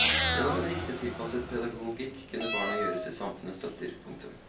Gjennom en riktig tilpasset pedagogikk kunne barna gjøres til samfunnets støtter. punktum